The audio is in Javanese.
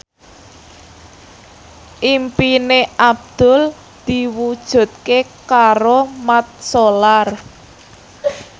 impine Abdul diwujudke karo Mat Solar